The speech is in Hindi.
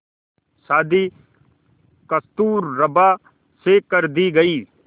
शादी कस्तूरबा से कर दी गई